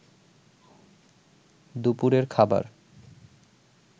দুপুরের খাবার